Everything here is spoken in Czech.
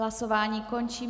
Hlasování končím.